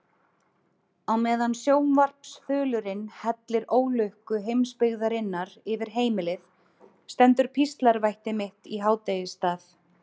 Á meðan sjónvarpsþulurinn hellir ólukku heimsbyggðarinnar yfir heimilið stendur píslarvætti mitt í hádegisstað.